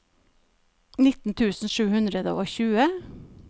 nitten tusen sju hundre og tjue